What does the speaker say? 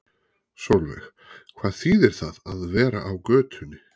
Sólveig: Hvað þýðir það að vera á götunni?